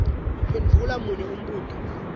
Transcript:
phendvula munye umbuto